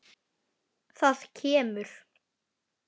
Það kemur.